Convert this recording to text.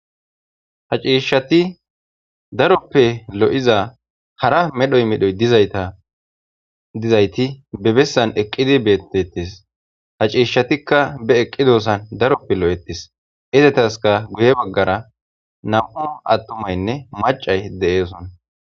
Ha ciishshati daroppe lo'iza hara medhoy medhoy dizaytadizayti bebessan eqqidi beettettis ha ciishshatikka be eqqidossan daroppe lo'etis izetaska guye baggara nam'u attumaynne macay deeeson